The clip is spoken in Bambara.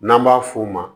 N'an b'a f'o ma